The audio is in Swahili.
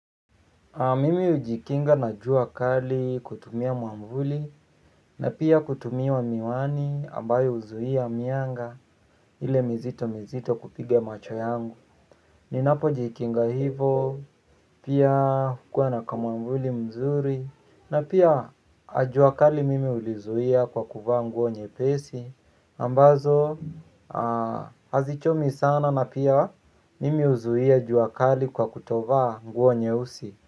Mimi hujikinga na jua kali kutumia mwavuli na pia kutumia wa miwani ambayo huzuia mianga ile mizito mizito kupiga macho yangu. Ninapo jikinga hivo pia hukua na kamwavuli mzuri na pia jua kali mimi hulizuia kwa kuvaa nguo nyepesi ambazo hazichomi sana na pia mimi huzuia jua kali kwa kutovaa nguo nyeusi.